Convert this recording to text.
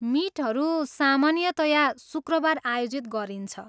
मिटहरू सामान्यतया शुक्रबार आयोजित गरिन्छ।